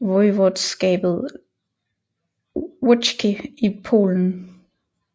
voivodskabet Łódzkie i Polen